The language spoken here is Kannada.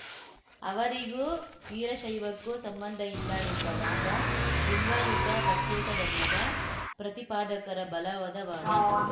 ಅವರಿಗೂ ವೀರಶೈವಕ್ಕೂ ಸಂಬಂಧ ಇಲ್ಲ ಎಂಬ ವಾದ ಲಿಂಗಾಯುತ ಪ್ರತ್ಯೇಕ ಧರ್ಮದ ಪ್ರತಿಪಾದಕರ ಬಲವಾದ ವಾದ